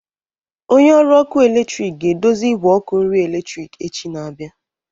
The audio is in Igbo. Onye ọrụ ọkụ eletrik ga-edozi igwe ọkụ nri eletrik echi na-abịa.